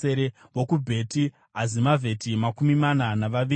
vokuBheti Azimavheti, makumi mana navaviri;